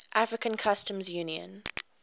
african customs union